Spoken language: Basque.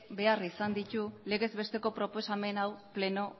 behar izan ditu legez besteko proposamen hau pleno